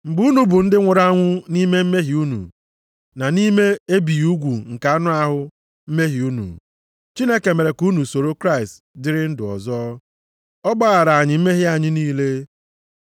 Mgbe unu bụ ndị nwụrụ anwụ nʼime mmehie unu, na nʼime ebighị ugwu nke anụ ahụ mmehie unu, Chineke mere ka unu soro Kraịst dịrị ndụ ọzọ. Ọ gbaghara anyị mmehie anyị niile,